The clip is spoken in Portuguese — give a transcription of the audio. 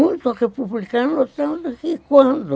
Muito republicano, tanto que quando